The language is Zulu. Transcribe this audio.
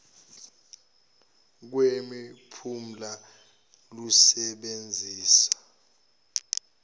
kwemi phumela lusebenzisa